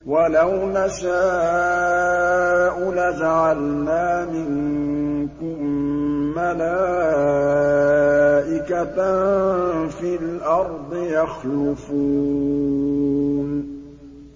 وَلَوْ نَشَاءُ لَجَعَلْنَا مِنكُم مَّلَائِكَةً فِي الْأَرْضِ يَخْلُفُونَ